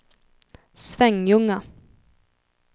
Svenljunga